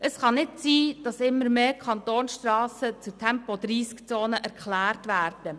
Es kann nicht sein, dass immer mehr Kantonsstrassen zu Tempo-30-Zonen erklärt werden.